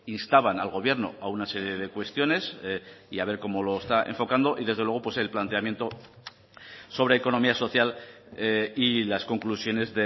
instaban al gobierno a una serie de cuestiones y a ver como lo está enfocando y desde luego pues el planteamiento sobre economía social y las conclusiones